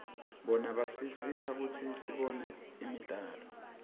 bona basisita kutsi sibone imidlalo